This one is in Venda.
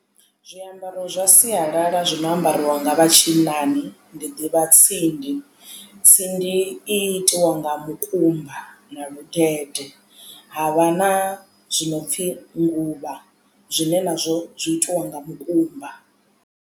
Zwiambaro zwa sialala zwi no ambariwa nga vha tshinnani ndi ḓivha tsindi tsindi i itiwa nga mukumba na ludede ha vha na zwinopfi nguluvha zwine nazwo zwi itiwa nga mukumba.